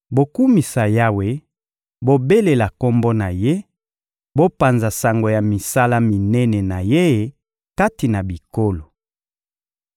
Bokumisa Yawe, bobelela Kombo na Ye, bopanza sango ya misala minene na Ye kati na bikolo!